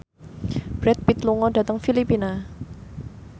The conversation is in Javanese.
Brad Pitt lunga dhateng Filipina